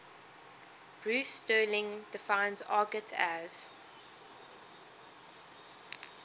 bruce sterling defines argot as